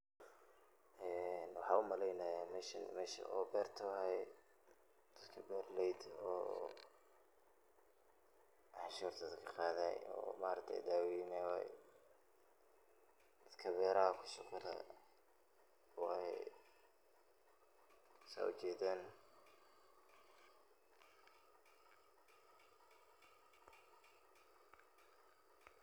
Eee, waxaa umaleynaya meshaan meshi oo berta waye, dadka beraleydha oo canshurta dadka kaqadaye oo maragte dawenaye waye. Dadka beraha ku shuqul leh waye sa ujedan.